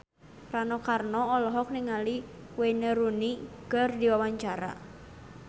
Rano Karno olohok ningali Wayne Rooney keur diwawancara